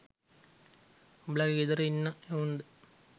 උබලගේ ගෙදර ඉන්න එවුන්ද?